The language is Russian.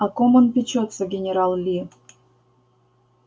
о ком он печётся генерал ли